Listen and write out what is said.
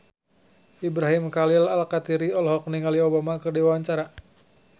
Ibrahim Khalil Alkatiri olohok ningali Obama keur diwawancara